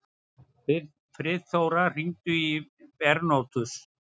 Friðþóra, hringdu í Bernótus.